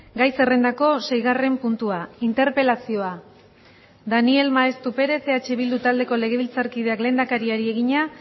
gai zerrendako seigarren puntua interpelazioa daniel maeztu perez eh bildu taldeko legebiltzarkideak lehendakariari egina